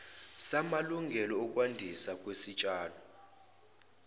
samalungelo okwandiswa kwesitshalo